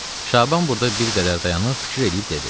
Şaban burda bir qədər dayanıb, fikir eləyib dedi.